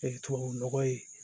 tubabunɔgɔ ye